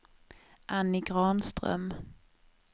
Annie Granström